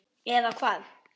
eða hvað?